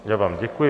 Já vám děkuji.